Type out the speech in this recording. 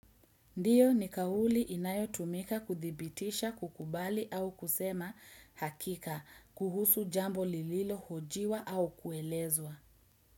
Ndiyo ni kawuli inayo tumika kuthibitisha kukubali au kusema hakika kuhusu jambo lililo hojiwa au kuelezwa.